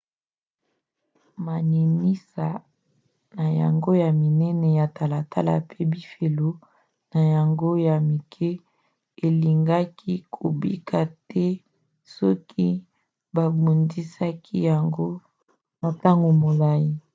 maninisa na yango ya minene ya talatala mpe bifelo na yango ya mike elingaki kobika te soki babundisaki yango na ntango molai